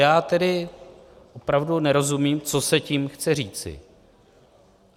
Já tedy opravdu nerozumím, co se tím chce říci.